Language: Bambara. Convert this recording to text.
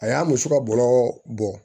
A y'a muso ka bɔrɔ bɔ